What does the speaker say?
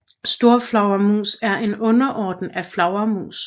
Storflagermus er en underorden af flagermus